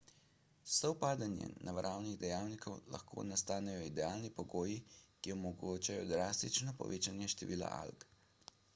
s sovpadanjem naravnih dejavnikov lahko nastanejo idealni pogoji ki omogočajo drastično povečanje števila alg